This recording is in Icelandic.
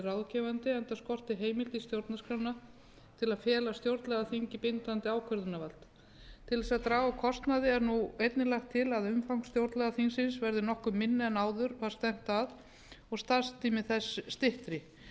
ráðgefandi enda skortir heimild í stjórnarskrána til að fela stjórnlagaþingi bindandi ákvörðunarvald til þess að draga úr kostnaði er nú einnig lagt til að umfang stjórnlagaþingsins verði nokkuð minna en áður var stefnt að og starfstími þess styttri þá